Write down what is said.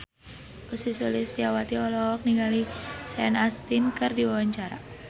Ussy Sulistyawati olohok ningali Sean Astin keur diwawancara